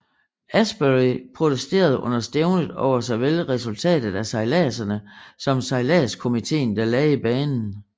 Ashbury protesterede under stævnet over såvel resultatet af sejladserne som sejladskomiteen der lagde banen